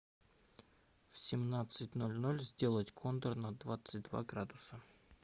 в семнадцать ноль ноль сделать кондер на двадцать два градуса